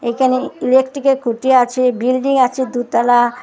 এখানে ইলেকট্রিকের খুঁটি আছে বিল্ডিং আছে দুতলা।